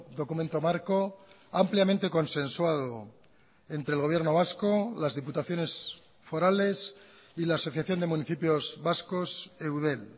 documento marco ampliamente consensuado entre el gobierno vasco las diputaciones forales y la asociación de municipios vascos eudel